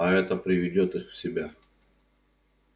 а это приведёт их в себя